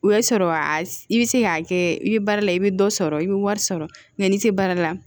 O y'a sɔrɔ a i bɛ se k'a kɛ i bɛ baara la i bɛ dɔ sɔrɔ i bɛ wari sɔrɔ n'i tɛ baara la